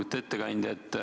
Lugupeetud ettekandja!